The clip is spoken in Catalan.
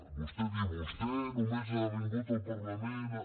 vostè diu vostè només ha vingut al parlament a